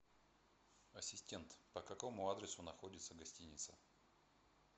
ассистент по какому адресу находится гостиница